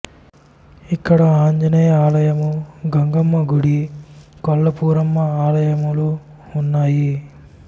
ఇక్కడ ఆంజనేయ ఆలయము గంగమ్మ గుడి కొల్లాపురమ్మ ఆలయములు ఉన్నాయి